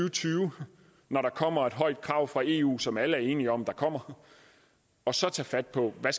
og tyve når der kommer et højt krav fra eu som alle er enige om der kommer og så tage fat på hvad